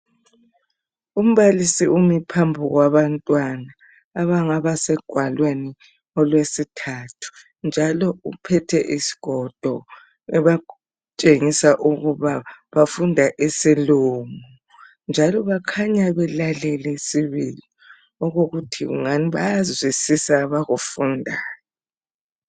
Umbalisi umi phambi kwabantwana abangaba segwaleni olwesithathu njalo uphethe isigodo ebatshengisa ukuba bafunda isilungu njalo bakhanya belalele sibili okokuthi kungani bayazwisisa abakufundayo